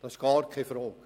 Das ist keine Frage.